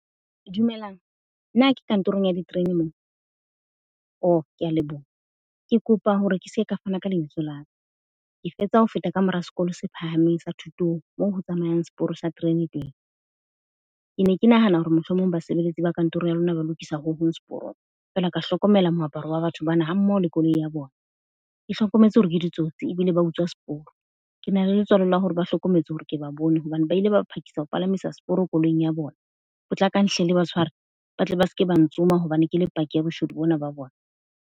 Dumelang, na ke kantorong ya diterene moo? O, ke a leboha. Ke kopa hore ke se ke ka fana ka lebitso la ka. Ke fetsa ho feta ka mora Sekolo se Phahameng sa Thutong, moo ho tsamayang seporo sa terene teng. Ke ne ke nahana hore mohlomong basebeletsi ba kantoro ya lona ba lokisa ho hong seporong. Fela ka hlokomela moaparo wa ba batho bana hammoho le koloi ya bona. Ke hlokometse hore ke ditsotsi ebile ba utswa seporo. Ke na le letswalo la hore ba hlokometse hore ke ba bone hobane ba ile ba phakisa ho palamisa seporo koloing ya bona. Potlakang hle le ba tshware ba tle ba se ke ba ntsoma hobane ke le paki ya boshodu bona ba bona.